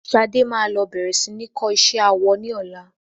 Ṣadé máa lọ bẹ̀rẹ̀ sí ní kọ́ isé awọ ní ọlá.